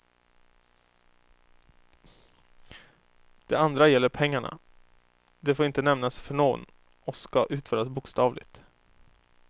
Det andra gäller pengarna, det får inte nämnas för någon och ska utföras bokstavligt.